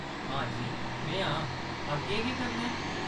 हां जी, में आं। अग्गें केह्‌‌ करना ऐ ?